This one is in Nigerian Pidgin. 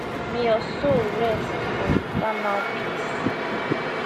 may your soul rest for eternal peace